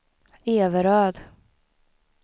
Everöd